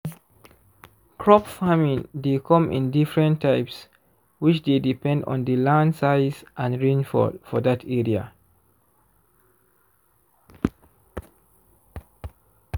crop farming dey come in diffrent types which dey depend on the land size and rainfall for that area